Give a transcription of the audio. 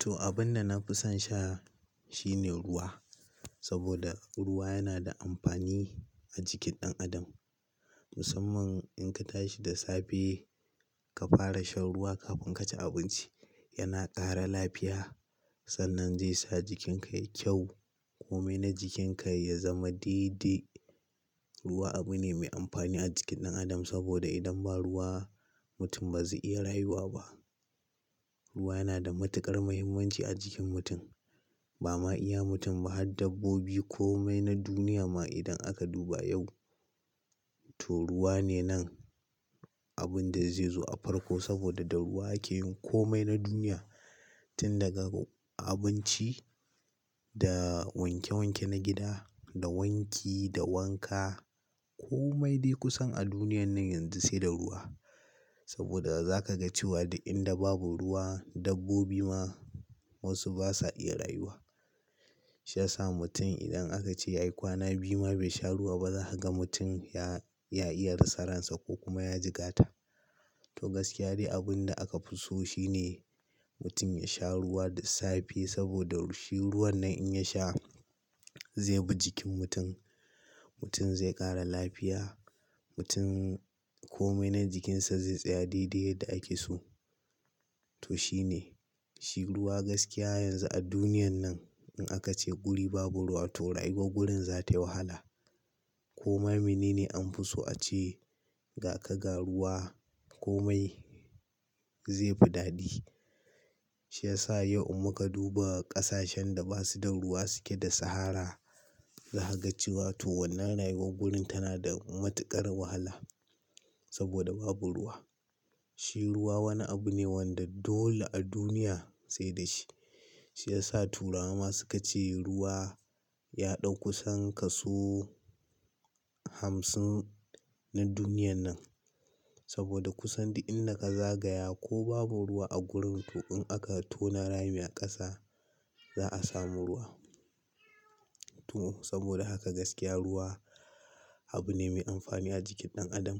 To, abin da na fi son sha shine ruwa. Saboda ruwa yana da amfani a jikin ɗan adam. Musamman in ka tashi da safe ka fara shan ruwa kafin ka ci abinci yana ƙara lafiya sannan zai sa jikinka yayi kyau. Komai na jikinka ya zama dede. Ruwa abu ne mai amfani a jikin ɗan adam saboda idan ba ruwa mutum ba zai iya rayuwa ba. Ruwa yana da matuƙar muhimmanci a jikin mutum. Ba ma iya mutum ba har dabbobi komai na duniya ma idan aka duba yau, to ruwa ne nan abin da zai zo a farko saboda da ruwa ake yin komai na duniya. Tun daga abinci, da wanke wanke na gida, da wanki, da wanka. Komai dai kusan a duniyan nan yanzu sai da ruwa. Saboda za ka ga cewa da inda babu ruwa dabbobi ma wasu basa iya rayuwa. Shi yasa mutum idan aka ce ya yi kwana biyu ma bai sha ruwa ba za ka ga mutum ya, ya iya rasa ransa ko kuma ya jigata. To gaskiya dai abin da aka fi so shine mutum ya sha ruwa da safe saboda shi ruwan nan in ya sha, zai bi jikin mutum. Mutum zai ƙara lafiya. Mutum komai na jikinsa zai tsaya dede yadda ake so. To shine, shi ruwa gaskiya yanzu a duniyan nan in aka ce guri babu ruwa to rayuwar gurin za ta yi wahala. Koma mene ne an fi so a ce ga ka ga ruwa komai zai fi dadi. Shi yasa yau in muka duba ƙasashen da basu da ruwa suke da sahara. Za ka ga cewa to wannan rayuwar gurin tana da matuƙar wahala saboda babu ruwa. Shi ruwa wani abu ne wanda dole a duniya sai da shi. Shi ya sa turawa ma suka ce ruwa ya ɗau kusan kaso hamsin na duniyan nan. Saboda kusan da inda ka zagaya ko babu ruwa a gurin to in aka tona rami a ƙasa za a samu ruwa. To saboda haka gaskiya ruwa abu ne mai amfani a jikin ɗan adam.